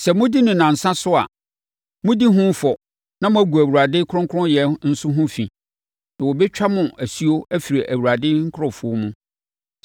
Sɛ modi no nnansa so a, modi ho fɔ na moagu Awurade kronkronyɛ nso ho fi, na wɔbɛtwa mo asuo afiri Awurade nkurɔfoɔ mu.